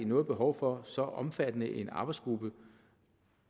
noget behov for så omfattende en arbejdsgruppe